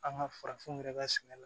An ka farafinw yɛrɛ ka sɛnɛ la